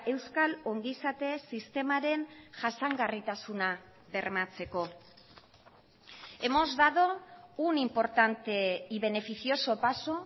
euskal ongizate sistemaren jasangarritasuna bermatzeko hemos dado un importante y beneficioso paso